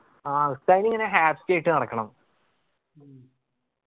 ആ ഉസ്താദിന് ഇങ്ങനെ happy ആയിട്ട് നടക്കണം